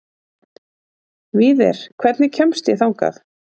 Víðir, hvernig kemst ég þangað?